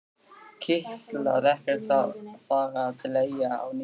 Kitlaði ekkert að fara til Eyja á ný?